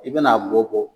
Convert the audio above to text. I bɛna a bɔ bɔ